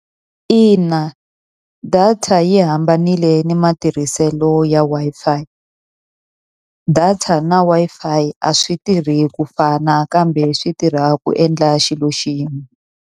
Ina data yi hambanile na matirhiselo ya Wi-Fi. data na Wi-Fi a swi tirhi ku fana kambe swi tirha ku endla xilo xin'we.